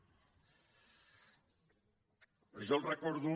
jo els recordo